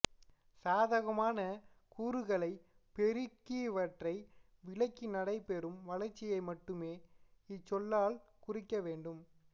சாதகமான கூறுகலை பெருஇக்கி பிறவற்றை விலக்கி நடைபெறும் வளர்ச்சியை மட்டுமே இச்சொல்லால் குறிக்கவேண்டும்